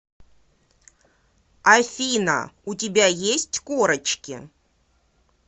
афина у тебя есть корочки